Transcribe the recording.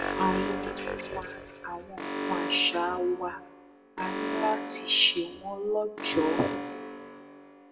àwọn orin wa àwọn nǹkan àṣà wa á ní láti ṣe wọn lọjọ